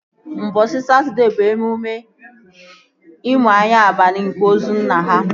Ụbọchị Satọdee bụ emume imu anya abalị nke ozu nna ha